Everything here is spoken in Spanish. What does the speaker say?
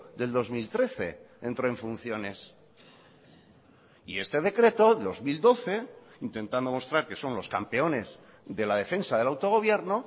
del dos mil trece entró en funciones y este decreto dos mil doce intentando mostrar que son los campeones de la defensa del autogobierno